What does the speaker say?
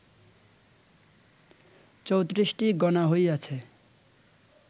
৩৪টি গণা হইয়াছে